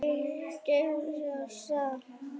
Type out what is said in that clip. Geysi af stað.